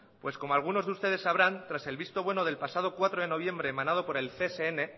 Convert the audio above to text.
pues como alguno de ustedes sabrán tras el visto bueno del pasado cuatro de noviembre emanado por el csn